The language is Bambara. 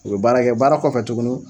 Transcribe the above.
U bɛ baarakɛ, baara kɔfɛ tuguni